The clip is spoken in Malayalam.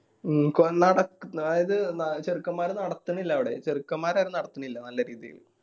മ്മ് അതായത് ന ചെറുക്കന്മാര് നടത്തിനില്ല അവിടെ ചെറുക്കന്മാര് അത് നടത്തിന്നില്ല നല്ല രീതിയില്